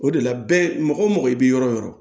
O de la bɛɛ mɔgɔ wo mɔgɔ i bi yɔrɔ o yɔrɔ